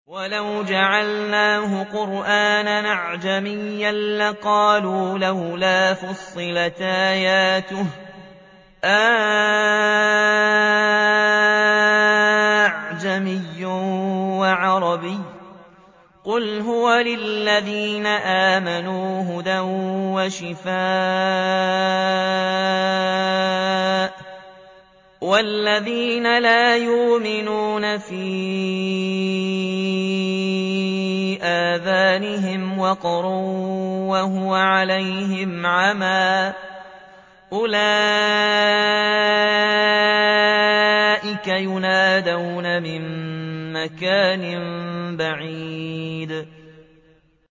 وَلَوْ جَعَلْنَاهُ قُرْآنًا أَعْجَمِيًّا لَّقَالُوا لَوْلَا فُصِّلَتْ آيَاتُهُ ۖ أَأَعْجَمِيٌّ وَعَرَبِيٌّ ۗ قُلْ هُوَ لِلَّذِينَ آمَنُوا هُدًى وَشِفَاءٌ ۖ وَالَّذِينَ لَا يُؤْمِنُونَ فِي آذَانِهِمْ وَقْرٌ وَهُوَ عَلَيْهِمْ عَمًى ۚ أُولَٰئِكَ يُنَادَوْنَ مِن مَّكَانٍ بَعِيدٍ